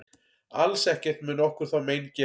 Alls ekkert mun okkur þá mein gera.